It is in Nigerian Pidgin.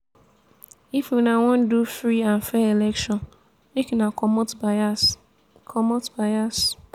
if una wan do free and fair election make una comot bias. comot bias.